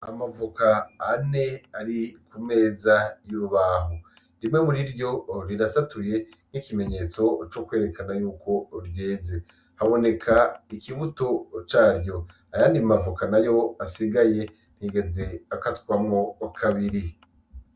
Amavoka ane ari kumeza y'urubaho rimwe muriryo rirasatuye nk'ikimenyetso cokwerekana ko ryeze, haboneka ikibuto cyaryo ayandi mavoka asigaye ntiyigeze akatamwo kabiri.